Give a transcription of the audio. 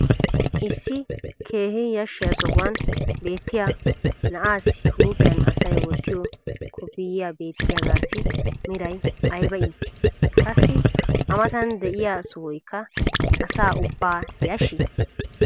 Issi keehi yashiya sohuwan beetiya na'aassi huuphiyan asay wottiyo kofiyee beetiyaagassi meray aybba iitii? Qassi A matan diya sohoykka asaa aybba yashshii?